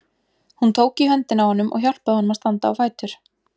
Hún tók í höndina á honum og hjálpaði honum að standa á fætur.